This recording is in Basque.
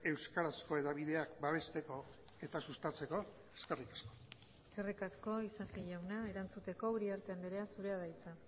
euskarazko hedabideak babesteko eta sustatzeko eskerrik asko eskerrik asko isasi jauna erantzuteko uriarte andrea zurea da hitza